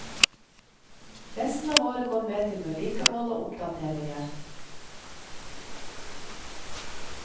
Resten av året går med til vedlikehold og oppdateringer.